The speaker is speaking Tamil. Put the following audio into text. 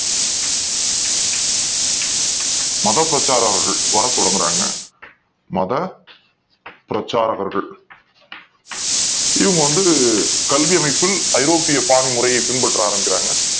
மதப் பிரச்சாரகர்கள் வரத் தொடங்குறாங்க மத பிரச்சாரகர்கள் இங்க வந்து கல்வி அமைப்பில் ஐரோப்பிய பாடமுறைய பின்பற்ற தொடங்குறாங்க